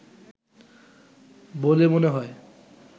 বলে মনে হয়